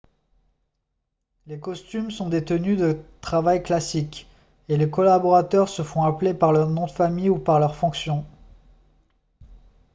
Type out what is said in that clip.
les costumes sont des tenues de travail classiques et les collaborateurs se font appeler par leur nom de famille ou par leur fonction